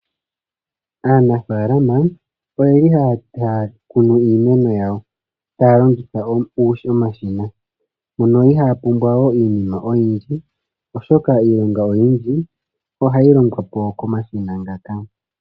Aanafaalama oyeli haya kunu iimeno yawo taya longitha omashina. Mpono ihaya pumbwa we iinima oyindji, oshoka iilonga oyindji ohayi longwapo komashina ngaka.